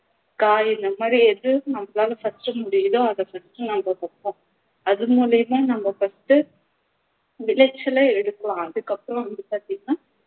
காய் இந்தமாதிரி எது நம்மலாள first உ முடியுதோ அதை first உ நம்ம வப்போம் அது மூலமா நம்ம first உ நிலத்துல அதுக்கு அப்புறம் வந்து பாத்திங்கண்ணா